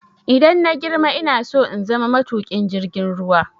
Idan na girma ina so in zama matuƙin jirgin ruwa.